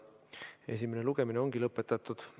Esimene lugemine ongi lõpetatud.